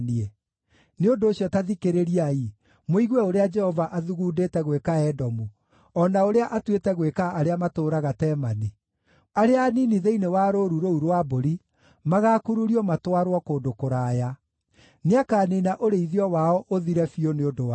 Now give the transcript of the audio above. Nĩ ũndũ ũcio, ta thikĩrĩriai, mũigue ũrĩa Jehova athugundĩte gwĩka Edomu, o na ũrĩa atuĩte gwĩka arĩa matũũraga Temani: Arĩa anini thĩinĩ wa rũũru rũu rwa mbũri magaakururio matwarwo kũndũ kũraya; nĩakaniina ũrĩithio wao ũthire biũ nĩ ũndũ wao.